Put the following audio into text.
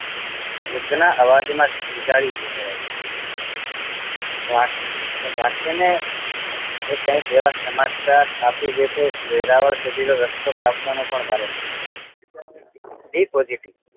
વૃદ્ધ નાં અવાજ માં ધ્રૂન્જારી ઉભરાઈ વાત રાખીને એ કાંઈક એવા સમાચાર આપી દે અને વેરાવળ સુધી નો રસ્તો કાપવો પણ ભારે છે be positive